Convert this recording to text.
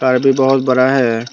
Car तो बहोत बड़ा है।